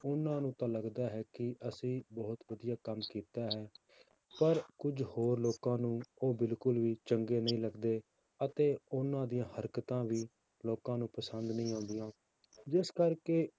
ਉਹਨਾਂ ਨੂੰ ਤਾਂ ਲੱਗਦਾ ਹੈ ਕਿ ਅਸੀਂ ਬਹੁਤ ਵਧੀਆ ਕੰਮ ਕੀਤਾ ਹੈ ਪਰ ਕੁੱਝ ਹੋਰ ਲੋਕਾਂ ਨੂੰ ਉਹ ਬਿਲਕੁਲ ਵੀ ਚੰਗੇ ਨਹੀਂ ਲੱਗਦੇ, ਅਤੇ ਉਹਨਾਂ ਦੀਆਂ ਹਰਕਤਾਂ ਵੀ ਲੋਕਾਂ ਨੂੰ ਪਸੰਦ ਨਹੀਂ ਆਉਂਦੀਆਂ, ਜਿਸ ਕਰਕੇ